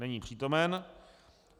Není přítomen.